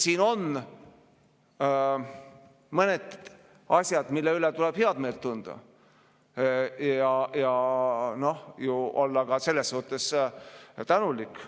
Siin on mõned asjad, mille üle tuleb head meelt tunda ja olla selles suhtes tänulik.